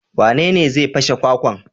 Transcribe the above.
Wanene zai fashe kwakwan?